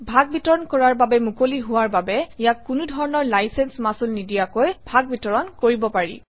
ভাগবিতৰণ কৰাৰ বাবে মুকলি হোৱাৰ বাবে ইয়াক কোনো ধৰণৰ লাইচেন্স মাচুল নিদিয়াকৈ ভাগবিতৰণ কৰিব পাৰি